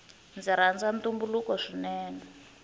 ndzi rhanza ntumbuluko swinene